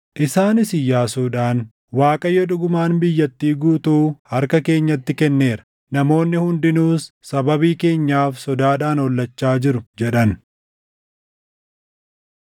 Isaanis Iyyaasuudhaan, “ Waaqayyo dhugumaan biyyattii guutuu harka keenyatti kenneera; namoonni hundinuus sababii keenyaaf sodaadhaan hollachaa jiru” jedhan.